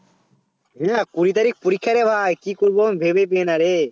হ্যাঁ কুড়ি তারিখ পরীক্ষা রে ভাই কি করব ভেবে পেয়ে না রে